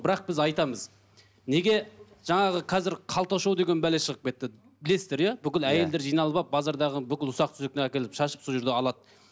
бірақ біз айтамыз неге жаңағы қазір қалта шоу деген бәле шығып кетті білесіздер иә бүкіл әйелдер жиналып алып базардағы бүкіл ұсақ шашып сол жерде алады